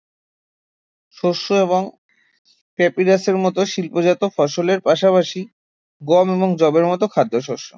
শস্য এবং প্যাপিরাসের মতো শিল্পজাত ফসলের পাশাপাশি গম এবং যবের মতো খাদ্য শস্য